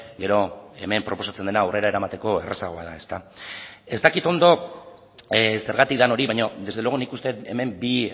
gero hemen proposatzen dena aurrera eramateko errazagoa da ezta ez dakit ondo zergatik den hori baina desde luego nik uste dut hemen bi